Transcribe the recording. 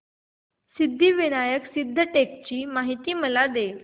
सिद्धिविनायक सिद्धटेक ची मला माहिती दे